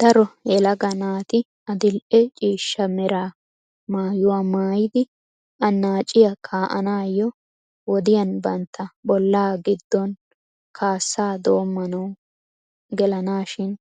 Daro yelaga naati adil"e ciishsha mera maayuwaa maayidi annaciyaa kaa"ananiyo wodiyaan bantta bollaa giddon kaassaa dommanaw gelaanashin